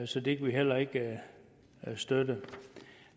så det kan vi heller ikke støtte